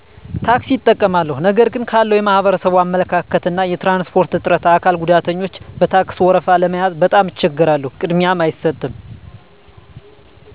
ታክሲ እጠቀማለሁ ነገር ግን ካለዉ የማህበረሰቡ አመለካከት እና የትራንስፖርት እጥረት አካል ጉዳተኞች በታክስ ወረፋ ለመያዝ በጣም እቸገራለሁ ቅድሚያም አይሰጥም